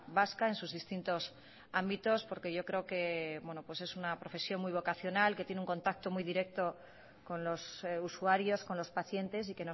vasca en sus distintos ámbitos porque yo creo que es una profesión muy vocacional que tiene un contacto muy directo con los usuarios con los pacientes y